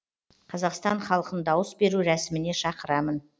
қазақстан халқын дауыс беру рәсіміне шақырамын